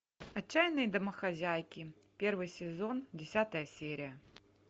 отчаянные домохозяйки первый сезон десятая серия